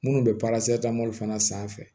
Minnu bɛ fana sanfɛ